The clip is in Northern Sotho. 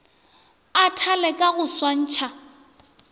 a thale ka go swantšha